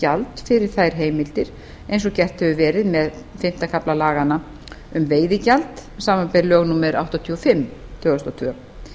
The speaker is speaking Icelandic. gjald fyrir þær heimildir eins og gert hefur verið með fimmta kafla laganna um veiðigjald samanber lög númer áttatíu og fimm tvö þúsund og tvö